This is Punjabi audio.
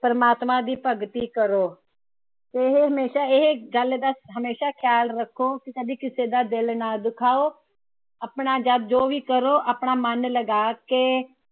ਪ੍ਰਮਾਤਮਾ ਦੀ ਭਗਤੀ ਕਰੋ। ਇਹ ਹਮੇਸ਼ਾ ਇਹ ਗੱਲ ਦਾ ਹਮੇਸ਼ਾ ਖ਼ਯਾਲ ਰੱਖੋ ਕਿ ਕਦੇ ਕਿਸੇ ਦਾ ਦਿਲ ਨਾ ਦੁਖਾਓ। ਆਪਣਾ ਜਾ ਜੋ ਵੀ ਕਰੋ ਆਪਣਾ ਮਨ ਲਗਾ ਕੇ